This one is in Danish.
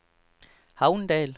Havndal